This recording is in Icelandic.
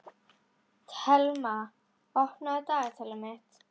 Thelma, opnaðu dagatalið mitt.